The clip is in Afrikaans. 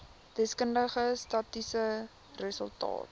deskundige statistiese resultate